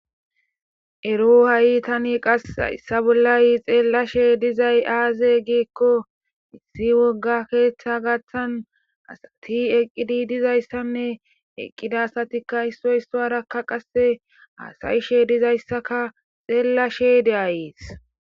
Ero ha'i tan qasi haysa bolla xelashe dizay aaze gikoni. Issi woga keetha gathani asati eqidi dizaysanne eqida asatika issoy isuwara qase hasa'ashe dizayska xelashe de'aysi.